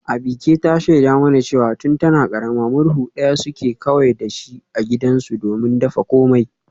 Abike ta shaida mana cewa tun tana karama murhu daya ce kawai suke da su a gidansu domin dafa komai